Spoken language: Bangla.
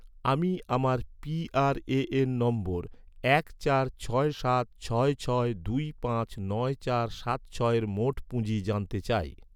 আমি আমার পি.আর.এ.এন নম্বর এক চার ছয় সাত ছয় ছয় দুই পাঁচ নয় চার সাত ছয়ের মোট পুঁজি জানতে চাই